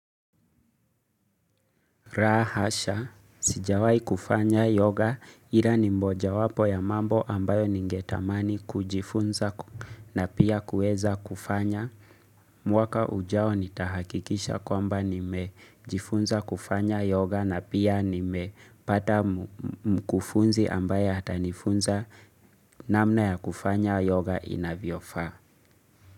La hasha, sijawahi kufanya yoga ila ni mojawapo ya mambo ambayo ningetamani kujifunza na pia kuweza kufanya. Mwaka ujao nitahakikisha kwamba nimejifunza kufanya yoga na pia nimepata mkufunzi ambaye atanifunza namna ya kufanya yoga inavyofaa.